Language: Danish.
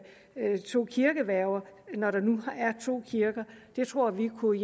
to kirkeværger når der nu er to kirker det tror vi kunne